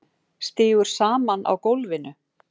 Sígur saman á gólfinu.